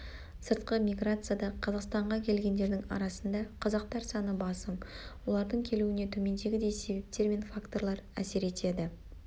сыртқы миграцияда қазақстанға келгендердің арасында қазақтар саны басым олардың келуіне төмендегідей себептер мен факторлар әсер етеді